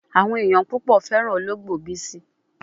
Awon eyan pupo feran ologbo Bisi